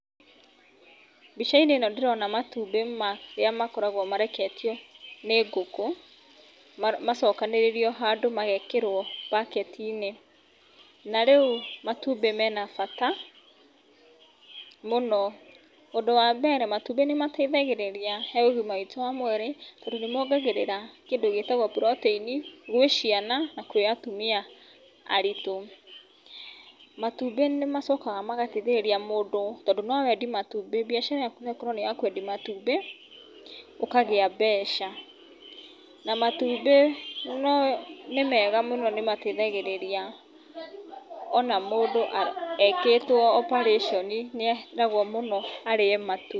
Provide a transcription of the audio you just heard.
Mbicainĩ ĩno ndĩrona matumbĩ ma, rĩa makoraguo mareketio, nĩ ngũkũ, ma macokanĩrĩirio handũ magekĩrũo mbaketinĩ. Narĩu, matumbĩ mena bata, mũno, ũndũ wa mbere matumbĩ nĩmateithagĩrĩria, he ũgima witũ wa mwĩrĩ, tondũ nĩmongagĩrĩra kĩndũ gĩtagũo protein gwĩ ciana na kwĩ atumia, aritũ. Matumbĩ nĩmacokaga magateithĩrĩria mũndũ, tondũ nowendie matumbĩ, mbiacara yaku noĩkorũo nĩyakwendia matumbĩ, ũkagĩa mbeca. Na matumbĩ no, nĩmega mũno nĩmateithagĩrĩria, ona mũndũ, a, ekĩtũo operation, nĩeragũo mũno arĩe matumbĩ.